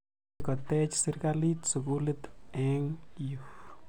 Akoi kotech sirikalit sukulit eng' yu.